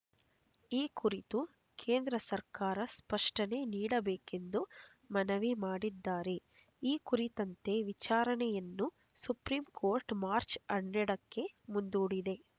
ಈ ಕುರಿತು ಕೇಂದ್ರ ಸರ್ಕಾರ ಸ್ಪಷ್ಟನೆ ನೀಡಬೇಕೆಂದು ಮನವಿ ಮಾಡಿದ್ದಾರೆ ಈ ಕುರಿತಂತೆ ವಿಚಾರಣೆಯನ್ನು ಸುಪ್ರೀಂ ಕೋರ್ಟ್ ಮಾರ್ಚ್ ಹನ್ನೆರಡಕ್ಕೆ ಮುಂದೂಡಿದೆ